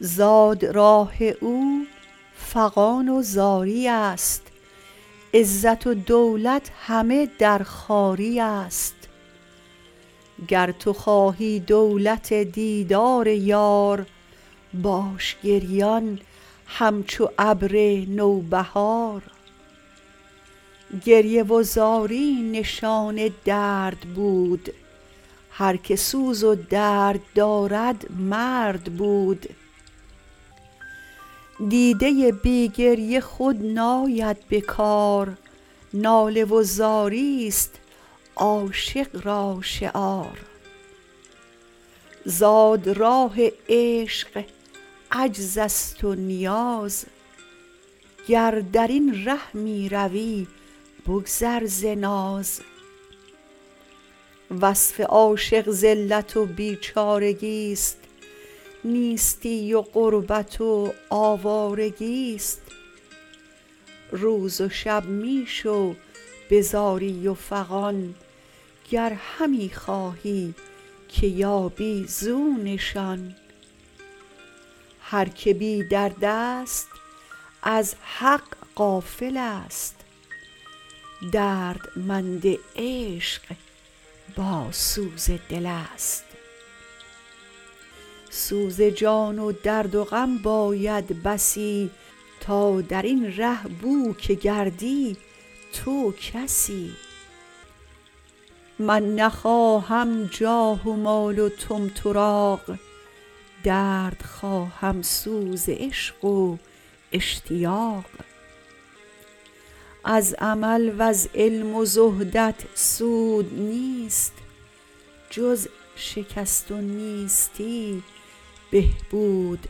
زاد راه او فغان و زاریست عزت و دولت همه در خواریست گر تو خواهی دولت دیدار یار باش گریان همچو ابر نوبهار گریه و زاری نشان درد بود هر که سوز و درد دارد مرد بود دیدۀ بی گریه خود ناید به کار ناله و زاریست عاشق را شعار زاد راه ع شق عجزست و نیاز گر درین ره می روی بگذر ز ناز وصف عاشق ذلت و بیچارگی است نیستی و غربت و آوارگی است روز و شب می شو به زاری و فغان گ ر همی خواهی که یابی زو نشان هر که بیدردست از حق غافلست دردمند عشق با سوز دلست سوز جان و درد و غم باید بسی تا در ین ره بو که گردی تو کسی من نخواهم جاه و مال و طمطراق درد خواهم سوز عشق و اشتیاق از عمل وز علم و زهدت سود نیست جز شکست و نیستی بهبود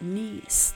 نیست